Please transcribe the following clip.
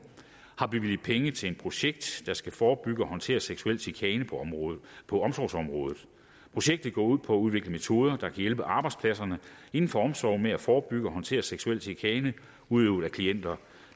har bevilget penge til et projekt der skal forebygge og håndtere seksuel chikane på omsorgsområdet projektet går ud på at udvikle metoder der kan hjælpe arbejdspladserne inden for omsorg med at forebygge og håndtere seksuel chikane udøvet af klienter